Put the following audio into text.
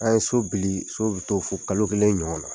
a ye so bili so bɛ to fo kalo kelen ɲɔgɔn na.